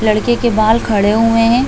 लड़के के बाल खड़े हुए हैं।